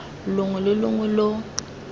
longwe lo longwe lo lo